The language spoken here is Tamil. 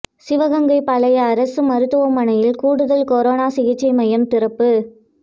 சிவகங்கை பழைய அரசு மருத்துவமனையில் கூடுதல் கரோனா சிகிச்சை மையம் திறப்பு